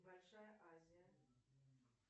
большая азия